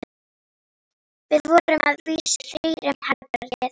Við vorum að vísu þrír um herbergið.